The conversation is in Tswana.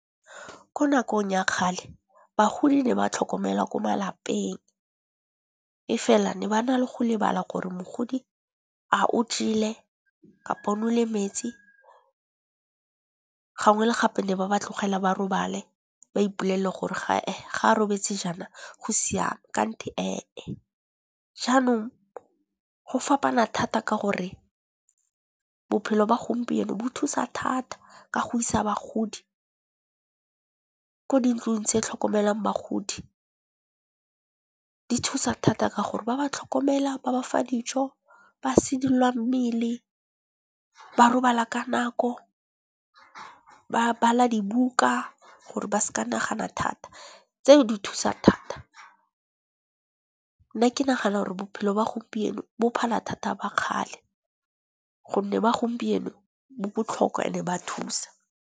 Ke nakong ya kgale bagodi ne ba tlhokomela ko malapeng, e fela ne ba na le go lebala gore mogodi a o jele kapa nole metsi, gangwe le gape ne ba ba tlogela ba robale ba ipolelle gore ga a robetse jaana go siame kgante ee e. Jaanong go fapana thata ka gore bophelo ba gompieno bo thusa thata ka go isa bagodi ko di ntlong tse tlhokomelang bagodi. Di thusa thata ka gore ba ba tlhokomela, ba bafa dijo, ba sedilwa mmele, ba robala ka nako, ba bala dibuka gore ba seka nagana thata, tseo di thusa thata. Nna ke nagana gore bophelo ba gompieno bo phala thata ba kgale gonne ba gompieno bo botlhokwa and-e ba thusa.